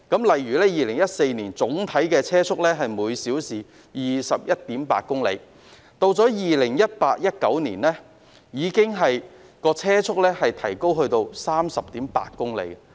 例如 ，2014 年的整體車速是每小時 21.8 公里，到了2018年及2019年，車速已提高至 30.8 公里。